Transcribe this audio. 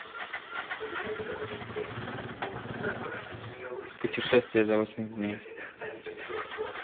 путешествие за восемьдесят дней